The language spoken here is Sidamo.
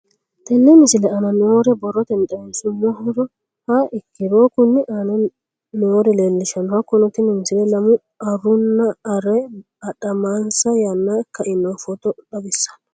Tenne misile aana noore borrotenni xawisummoha ikirro kunni aane noore leelishano. Hakunno tinni misile lamu arunna aree adhamansa yaana ka'inno footo xawissanno.